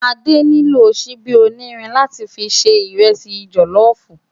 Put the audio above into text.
Ade nló ṣìbi ónírìn látì fi jè ìrẹsì jòlòfú